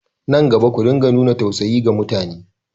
Nan gaba, ku dinga nuna tausayi ga mutane!